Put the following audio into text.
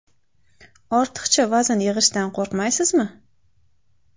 Ortiqcha vazn yig‘ishdan qo‘rqmaysizmi?